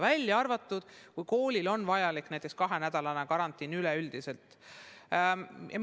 Välja arvatud muidugi juhul, kui kool peab näiteks kahenädalase üldise karantiini kehtestama.